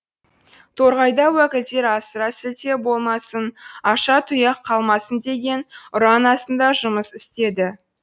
торғайда уәкілдер асыра сілтеу болмасын аша тұяқ қалмасын деген ұран астында жұмыс істеді